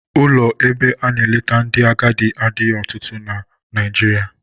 Ụlọ ebe a na-eleta ndị agadi adịghị ọtụtụ n'ọtụtụ na Nigeria.